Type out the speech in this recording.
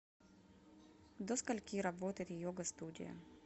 до скольки работает йога студия